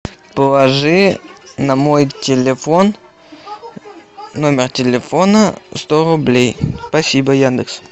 положи на мой телефон номер телефона сто рублей спасибо яндекс